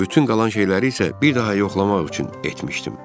Bütün qalan şeyləri isə bir daha yoxlamaq üçündür.